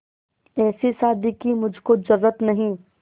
ऐसी शादी की मुझको जरूरत नहीं